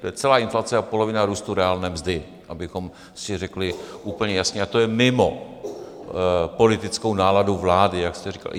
To je celá inflace a polovina růstu reálné mzdy, abychom si řekli úplně jasně, a to je mimo politickou náladu vlády, jak jste říkal.